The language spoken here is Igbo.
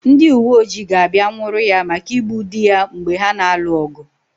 Ndị uweojii ga-abịa nwụrụ ya maka igbu dị ya mgbe ha na-alụ ọgụ.